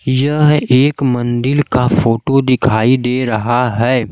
यह एक मन्दिल का फोटो दिखाई दे रहा है।